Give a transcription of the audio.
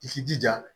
I k'i jija